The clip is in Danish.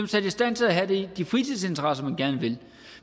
sat i stand til at have de fritidsinteresser man gerne vil